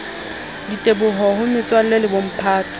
diteboho ho metswalle le bomphato